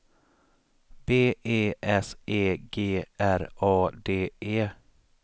B E S E G R A D E